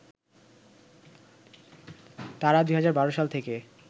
তারা ২০১২ সাল থেকে